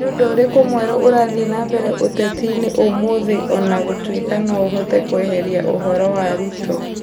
Nĩ ũndũ ũrĩkũ mwerũ ũrathiĩ na mbere ũteti-inĩ ũmũthĩ O na gũtuĩka no ũhote kweheria ũhoro wa ruto